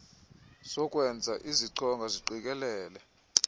zokwenza ezichonga ziqikelele